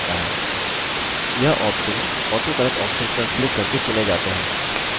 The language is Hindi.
यह ऑप्शन्स autocorrect options पर क्लिक करके चुने जाते हैं